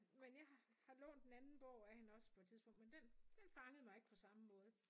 Men jeg har lånt en anden bog af hende også på et tidspunkt men den den fangede mig ikke på samme måde